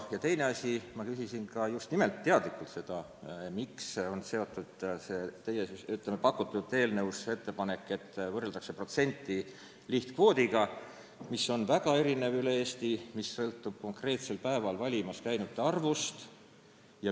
Ja teine asi: ma küsisin teadlikult seda, miks on teie eelnõus ettepanek, et võrreldakse protsenti lihtkvoodiga, mis on üle Eesti väga erinev ja sõltub konkreetsel päeval valimas käinute arvust.